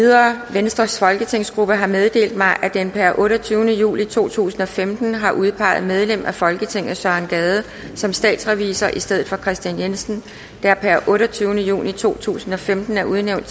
venstres folketingsgruppe har meddelt mig at den per otteogtyvende juli to tusind og femten har udpeget medlem af folketinget søren gade som statsrevisor i stedet for kristian jensen der per otteogtyvende juni to tusind og femten er udnævnt